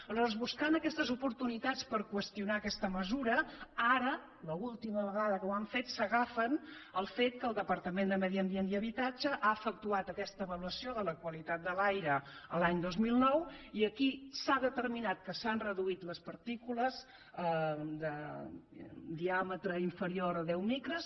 aleshores buscant aquestes oportunitats per qüestionar aquesta mesura ara l’última vegada que ho han fet s’agafen al fet que el departament de medi ambient i habitatge ha efectuat aquesta avaluació de la qualitat de l’aire l’any dos mil nou i aquí s’ha determinat que s’han reduït les partícules de diàmetre inferior a deu micres